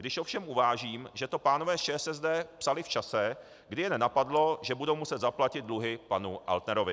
Když ovšem uvážím, že to pánové z ČSSD psali v čase, kdy je nenapadlo, že budou muset zaplatit dluhy panu Altnerovi.